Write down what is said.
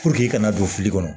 i kana don fili kɔnɔ